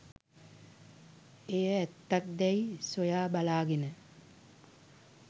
එය ඇත්තක් දැයි සොයා බලාගෙන